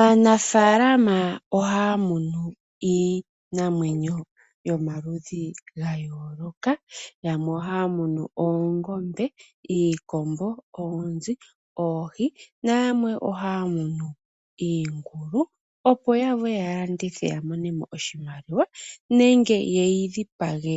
Aanafaalama ohaamunu iinamwenyo yomaludhi gayooloka yamwe ohaa munu oongombe, iikombo, oonzi, oohi nayamwe ohaamunu iingulu opo yavule yalandithe yamone mo oshimaliwa nenge yeyi dhipage